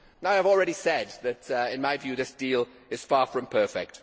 I have already said that, in my view, this deal is far from perfect.